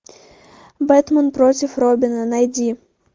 бэтмен против робина найди